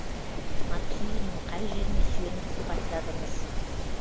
марксизмнің қай жеріне сүйеніп сипаттадыңыз